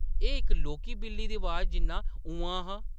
एह्‌‌ इक लौह्‌‌‌की, बिल्ली दी अवाज जिन्ना ‘उम्म्मांऽ’ हा ।